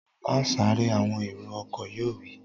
Má sáré! Àwọn èrò ọkọ̀ yóò wí